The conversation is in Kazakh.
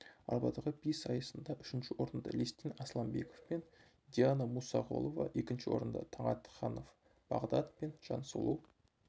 арбадағы би сайысында үшінші орынды лестин асламбеков пен диана мұсағұлова екінші орынды таңатханов бағдат пен жансұлу